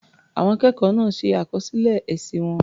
Àwọn akẹ́kọ̀ọ́ náà ṣe àkọsílẹ̀ èsì wọn.